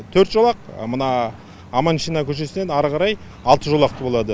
төрт жолақ мына аманшина көшеіснен ары қарай алты жолақты болады